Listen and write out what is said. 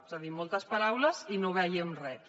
és a dir moltes paraules i no veiem res